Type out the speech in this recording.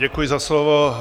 Děkuji za slovo.